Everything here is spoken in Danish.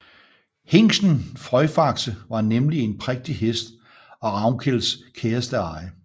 Hingsten Frøjfaxe var nemlig en prægtig hest og Ravnkels kæreste eje